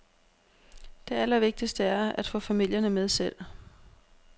Det allervigtigste er at få familierne med selv.